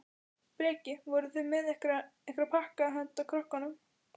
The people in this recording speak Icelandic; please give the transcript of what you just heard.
Breki: Voruð þið með einhverja, einhverja pakka handa krökkunum?